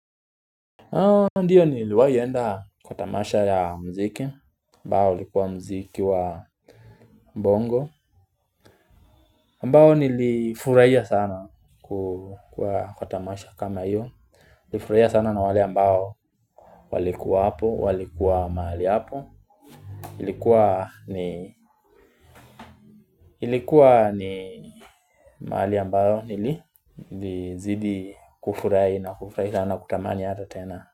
Ndiyo niliwahi enda kwa tamasha ya mziki ambao likuwa mziki wa bongo ambao nilifurahia sana kwa tamasha kama iyo nilifurahia sana na wale ambao walikuwa hapo, walikuwa mahali hapo. Ilikuwa ni mahali ambayo nili zidi kufurahi na kufurahi sana kutamani aje tena.